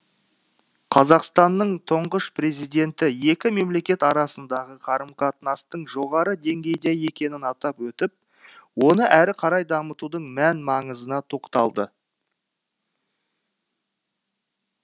қазақстанның тұңғыш президенті екі мемлекет арасындағы қарым қатынастың жоғары деңгейде екенін атап өтіп оны әрі қарай дамытудың мән маңызына тоқталды